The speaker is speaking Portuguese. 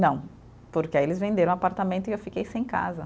Não, porque aí eles venderam o apartamento e eu fiquei sem casa.